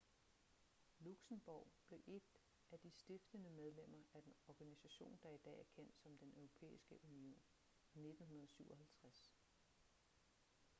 luxembourg blev et af de stiftende medlemmer af den organisation der i dag er kendt som den europæiske union i 1957